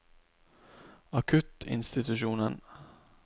akuttinstitusjonen